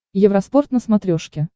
евроспорт на смотрешке